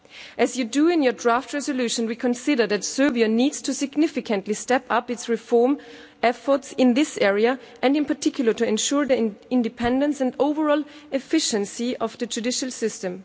As you do in your draft resolution, we consider that Serbia needs to significantly step up its reform efforts in this area and, in particular, to ensure the independence and overall efficiency of the judicial system.